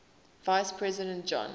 vice president john